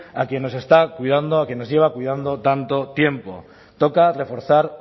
a quien nos está cuidando a quien nos lleva cuidando tanto tiempo toca reforzar